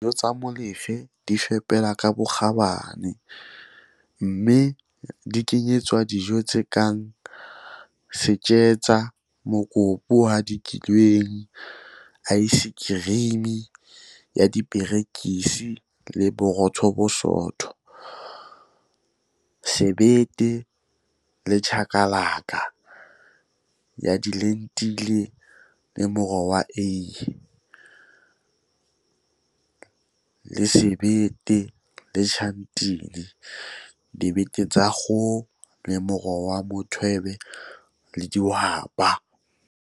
Dijo tsa Molefe di fepelwa ka bokgabane, mme di kenyeletsa dijo tse kang Isijingi - setjetsa, mokopu o hadikilweng, aesekerimi ya diperekisi le botoro e sootho, Isibindi nechakalaka - sebete le chakalaka, chakalaka ya dilentile le moro wa eie, le Iqanda, Isibindi noshatini - mahe, sebete le tjhatini, dibete tsa kgoho le moro wa mothwebe le dihwapa.